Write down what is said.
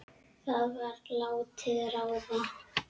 Það var látið ráða.